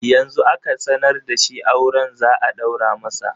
Yanzu aka sanar da shi auren za a ɗaura masa